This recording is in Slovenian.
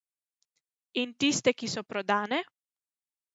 In tiste, ki so prodane?